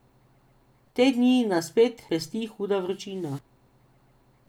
Te dni nas spet pesti huda vročina.